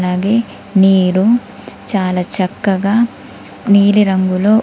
అలాగే నీరు చాలా చక్కగా నీలిరంగులో--